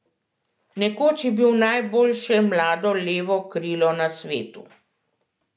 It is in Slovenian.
Nekoč je bil najboljše mlado levo krilo na svetu.